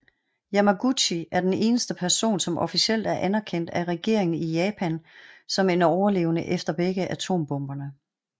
Yamaguchi er den eneste person som officielt er anerkendt af regeringen i Japan som en overlevende efter begge atombomberne